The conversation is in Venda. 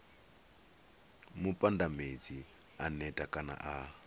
mupandamedzi a neta kana a